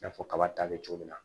I n'a fɔ kaba ta bɛ cogo min na